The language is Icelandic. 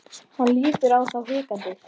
Hann lítur á þá og hikar.